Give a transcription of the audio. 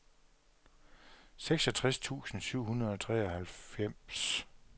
seksogtres tusind syv hundrede og treoghalvfems